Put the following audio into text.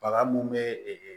Baga mun be ee